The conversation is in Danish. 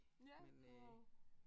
Ja wow